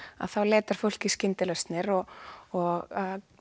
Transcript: þá leitar fólk í skyndilausnir og og